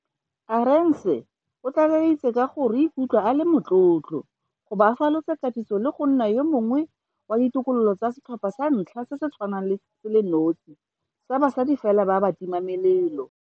Arendse o tlaleleditse ka gore o ikutlwa a le motlotlo go bo a falotse katiso le go nna yo mongwe wa ditokololo tsa setlhopha sa ntlha se se tshwanang se le nosi sa basadi fela ba batimamelelo.